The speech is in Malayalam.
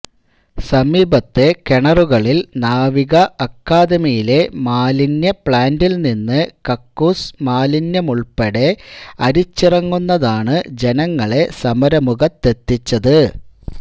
സമീപത്തെ കിണറുകളിൽ നാവിക അക്കാഡമിയിലെ മാലിന്യ പ്ലാന്റിൽ നിന്ന് കക്കൂസ് മാലിന്യമുൾപ്പെടെ അരിച്ചിറങ്ങുന്നതാണ് ജനങ്ങളെ സമരമുഖത്തെത്തിച്ചത്